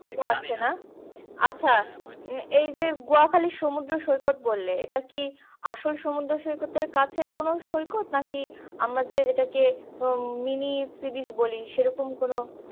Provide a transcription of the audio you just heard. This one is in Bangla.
হয়তো না আচ্ছা এই গুয়াখালী সুমদ্র সৈকত বললে এটা কি আসল সুমদ্র সৈকত থেকে কাছের কোনো সৈকত নাকি আমাদের এটাকে কোনো mini sea beach সেরকম কোনো